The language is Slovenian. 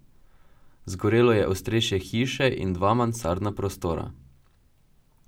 Zgorelo je ostrešje hiše in dva mansardna prostora.